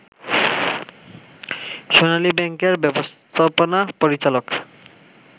সোনালী ব্যাংকের ব্যবস্থাপনা পরিচালক